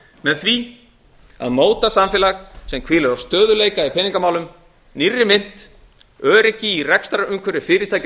með því að móta samfélag sem hvílir á stöðugleika í peningamálum nýrri mynt öryggi í rekstrarumhverfi fyrirtækja og